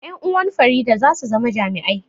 Ƴan uwan Farida za su zama jami'ai